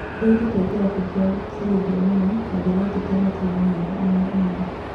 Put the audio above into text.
"Nĩdĩĩte kĩrabũ kĩa Buruge mũno nandirĩtekia matire na namba ona ĩmwe.